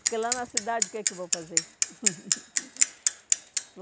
Porque lá na cidade, o que é que eu vou fazer?